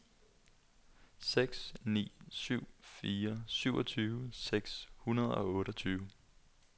seks ni syv fire syvogtyve seks hundrede og otteogtyve